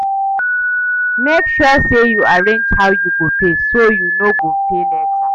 Mek sure say yu arrange how yu go pay so yu no go pay late.